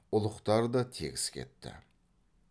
ұлықтар да тегіс кетті